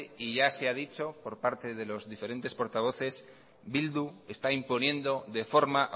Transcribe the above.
y ya se ha dicho por parte de los diferentes portavoces eh bildu está imponiendo de forma